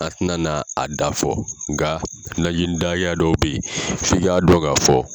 A tɛ na n'a dafa fɔ, nka najini da hakɛya dɔw bɛ yen f'i ka dɔn ka fɔ.